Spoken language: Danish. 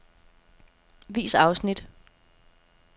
Vis afsnit.